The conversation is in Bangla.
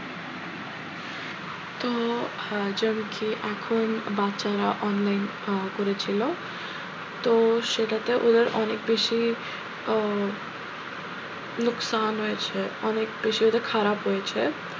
তো আহ যেমন কি এখন বাচ্চারা online আহ করেছিল তো সেটাতে ওদের অনেক বেশি আহ নুকসান হয়েছে অনেক বেশি ওদের খারাপ হয়েছে,